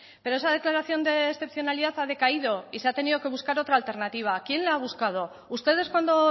pero esa declaración de excepcionalidad ha decaído y se ha tenido que buscar otra alternativa quién la ha buscado ustedes cuando